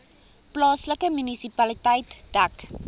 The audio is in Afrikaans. plaaslike munisipaliteit dek